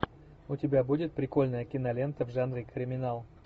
у тебя будет прикольная кинолента в жанре криминал